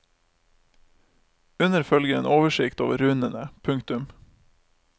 Under følger en oversikt over runene. punktum